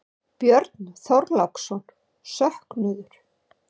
Björn Þorláksson: Söknuður?